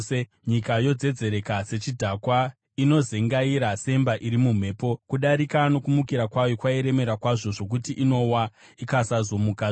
Nyika yodzedzereka sechidhakwa, inozengaira semba iri mumhepo; kudarika nokumukira kwayo kwairemera kwazvo, zvokuti inowa, ikasazomukazve.